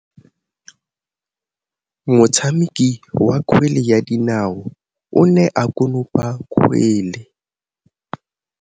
Motshameki wa kgwele ya dinaô o ne a konopa kgwele.